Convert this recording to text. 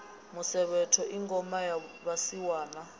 musevhetho i ngoma ya vhasiwana